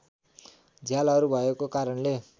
झ्यालहरू भएको कारणले